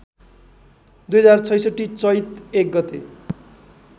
२०६६ चैत्र १ गते